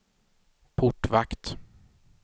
portvakt